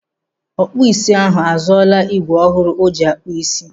Ọkpụ isi ahụ azụọla igwe ọhụrụ o ji akpụ isi.